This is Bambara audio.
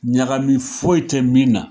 Ɲagami foyi tɛ min na